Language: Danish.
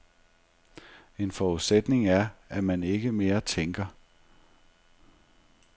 En forudsætning er, at man ikke mere tænker.